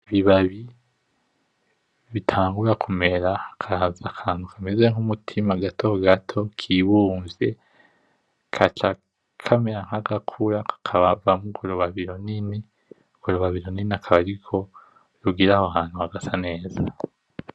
Ibibabi bitangura kumera ,hakaza akantu kameze nkumutima gatogato kibumvye, kaca kamera nkagakura kakavamwo urwo rubabi rinini , urwo rubabi runini akaba arirwo rugira aho hantu hagasa neza .